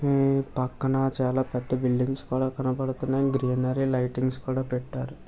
ఆ పక్కన చాలా పెద్ద బిల్డింగ్స్ కూడా కనబడుతున్నాయి. దానికి లైటింగ్స్ కూడా పెట్టారు.